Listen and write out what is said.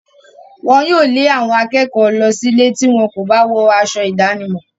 Wọn yóò lé àwọn akẹ́kọ̀ọ́ lọ sílé tí wọn kò bá wọ aṣọ ìdánimọ̀.